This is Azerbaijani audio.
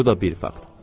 Bu da bir fakt.